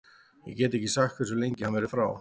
Ég get ekki sagt hversu lengi hann verður frá.